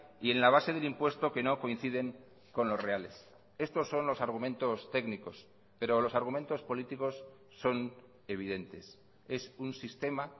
y en la base del impuesto que no coinciden con los reales estos son los argumentos técnicos pero los argumentos políticos son evidentes es un sistema